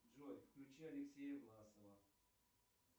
джой включи алексея власова